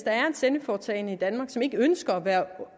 sendeforetagende i danmark som ikke ønsker at være